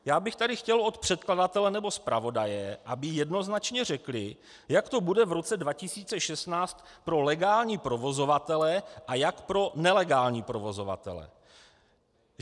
Já bych tady chtěl od předkladatele nebo zpravodaje, aby jednoznačně řekli, jak to bude v roce 2016 pro legální provozovatele a jak pro nelegální provozovatele.